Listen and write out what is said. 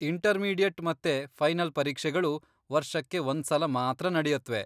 Intermediate ಮತ್ತೆ final ಪರೀಕ್ಷೆಗಳು ವರ್ಷಕ್ಕೆ ಒಂದ್ಸಲ ಮಾತ್ರ ನಡೆಯತ್ವೆ.